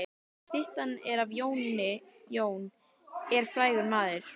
Styttan er af Jóni. Jón er frægur maður.